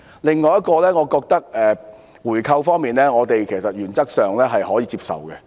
此外，有關回購，我們認為原則上可以接受。